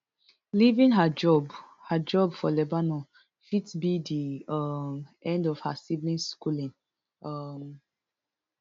leaving her job her job for lebanon fit be di um end to her siblings schooling um